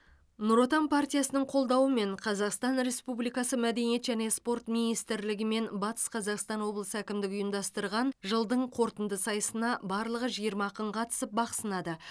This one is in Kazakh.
нұр отан партиясының қолдауымен қазақстан республикасы мәдениет және спорт министрлігі мен батыс қазақстан обылысы әкімдігі ұйымдастырған жылдың қорытынды сайысына барлығы жиырма ақын қатысып бақ сынады